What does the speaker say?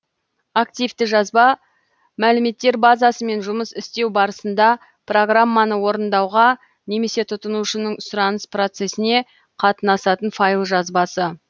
активті жазба мәліметтер базасымен жұмыс істеу барысында программаны орындауға немесе тұтынушының сұраныс процесіне қатынасатын файл жазбасы